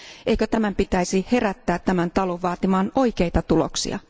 Eikö tämän pitäisi herättää tämä talo vaatimaan oikeita tuloksia?